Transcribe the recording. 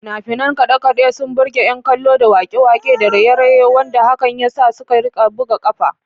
Fina-finan kade-kade sun burge ’yan kallo da wake-wake da raye-raye, wanda hakan ya sa suka rika buga kafa.